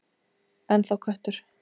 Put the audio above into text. Ennþá köttur.